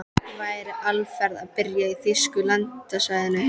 Væri Alfreð að byrja í þýska landsliðinu?